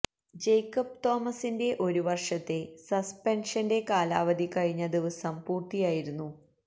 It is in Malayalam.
ജേക്കബ് തോമസിന്റെ ഒരു വര്ഷത്തെ സസ്പെന്ഷന്റെ കാലാവധി കഴിഞ്ഞ ദിവസം പൂര്ത്തിയായിരുന്നു